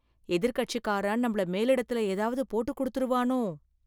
எதிர்க்கட்சிக்காரன் நம்மள மேலிடத்தில் ஏதாவது போட்டு கொடுத்துடுவானோ?